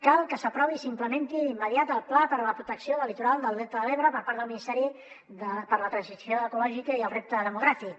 cal que s’aprovi i s’implementi d’immediat el pla per a la protecció del litoral del delta de l’ebre per part del ministeri per a la transició ecològica i el repte de·mogràfic